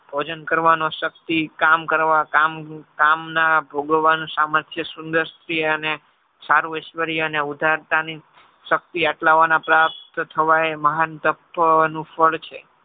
ભોજન કરવાનો શક્તિ કામ કરવા કામના ભોગાવાની સામર્થ્ય સુંદરતી અને સાર્વ અને ઉધારતાની શક્તિ આટલા વાના પ્રાપ્ત થવા એ મહાનતકનું ફળ છે.